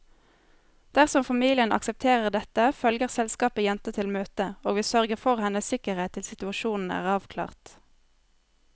Dersom familien aksepterer dette, følger selskapet jenta til møtet, og vi sørger for hennes sikkerhet til situasjonen er avklart.